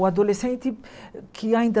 O adolescente que ainda...